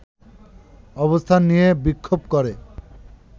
অবস্থান নিয়ে বিক্ষোভ করে